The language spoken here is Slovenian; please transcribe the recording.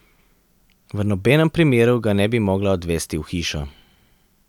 V nobenem primeru ga ne bi mogla odvesti v hišo.